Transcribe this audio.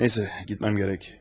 Nə isə, getməm gərək.